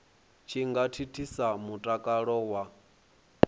tshi nga thithisa mutakalo wa